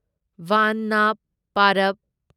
ꯕꯥꯟꯗꯅ ꯄꯔꯕ